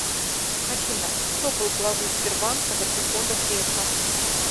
афина кто был главой сбербанка до прихода грефа